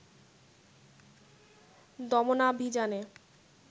দমনাভিযানে